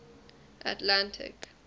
atlantic